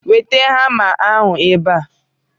Weta hama ahụ ebe a!